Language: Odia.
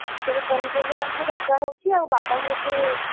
ସବୁ ପନିପରିବା ଏମିତି ଲଗା ହଉଛି ଆଉ ବାବାଙ୍କୁ ଏତେ,